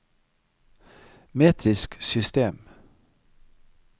metrisk system